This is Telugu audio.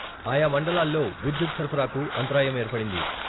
ఆయా మండలాల్లో విద్యుత్ సరఫరాకు అంతరాయం ఏర్పడింది.